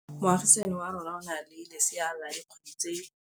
Moagisane wa rona o na le lesea la dikgwedi tse tlhano.